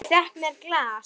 Ég fékk mér glas.